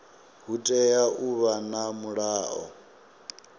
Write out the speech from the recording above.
hu tea u vha na mulayo